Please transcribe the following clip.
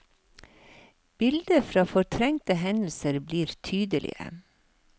Bilder fra fortrengte hendelser blir tydelige.